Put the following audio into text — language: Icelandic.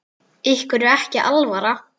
Ykkur er ekki alvara!